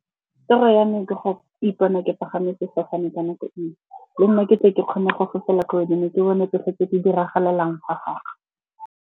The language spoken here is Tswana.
Toro ya ne ke go ipona ke pagame sefofane ka nako e nngwe. Le nna ke tle ke kgone go fofela ko godimo ke bone tsotlhe tse di diragalelang fa fatshe.